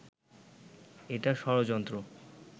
এটা ষড়যন্ত্র